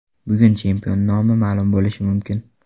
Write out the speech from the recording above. Bugun chempion nomi ma’lum bo‘lishi mumkin.